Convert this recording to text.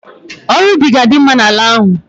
Ọrụ ubi ga-adima'ala ahụ.